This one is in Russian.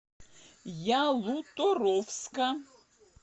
ялуторовска